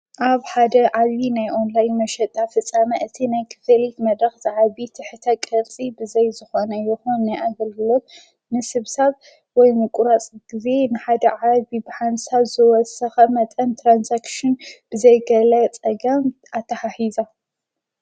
ኣብ ሓደ ዓቢ ናይ ዖንላይ መሸጣ ፍፃመ እቲ ናይ ክፌሊት መድኽ ዝዓቢ ትሕተ ቐልጺ ብዘይ ዝኾነ ይሆን ነይኣገልግሎት ንስብ ሰብ ወይ ምቊራጽ ጊዜ ንሓደ ዓ ቢብሓንሳ ዝወሰኸ መጠን ተራንሳክሽን ብዘይገለ ጸጋ ኣታሓኂዛ።